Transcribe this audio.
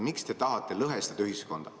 Miks te tahate ühiskonda lõhestada?